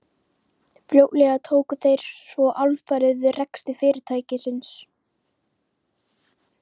Fljótlega tóku þeir svo alfarið við rekstri fyrirtækisins.